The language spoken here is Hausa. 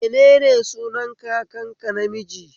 Menene sunan kakanka namiji?